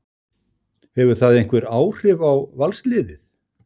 Hefur það einhver áhrif á Valsliðið?